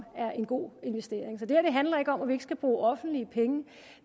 er en god investering så det her handler ikke om at vi ikke skal bruge offentlige penge